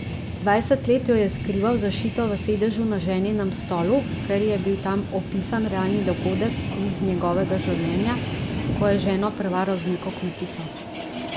Dvajset let jo je skrival zašito v sedežu na ženinem stolu, ker je bil tam opisan realni dogodek iz njegovega življenja, ko je ženo prevaral z neko kmetico.